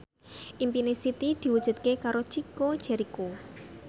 impine Siti diwujudke karo Chico Jericho